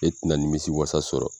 E tɛ na nimisi wasa sɔrɔ.